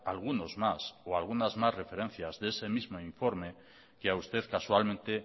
algunos más o algunas más referencias de ese mismo informe que a usted casualmente